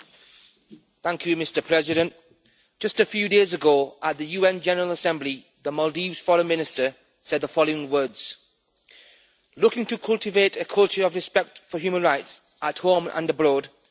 Mr President, just a few days ago at the UN General Assembly, the Maldives Foreign Minister said the following words Looking to cultivate a culture of respect for human rights at home and abroad is our goal.